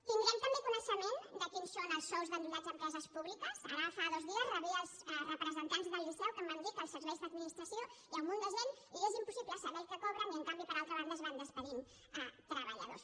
tindrem també coneixement de quins són els sous d’endollats a empreses públiques ara fa dos dies rebia els representants del liceu que em van dir que als serveis d’administració hi ha un munt de gent i és impossible saber el que cobren i en canvi per altra banda es van acomiadant treballadors